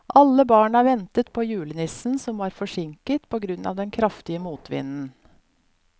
Alle barna ventet på julenissen, som var forsinket på grunn av den kraftige motvinden.